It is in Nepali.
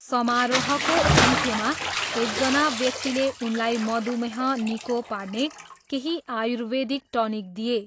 समारोहको अन्त्यमा, एकजना व्यक्तिले उनलाई मधुमेह निको पार्ने केही आयुर्वेदिक टनिक दिए।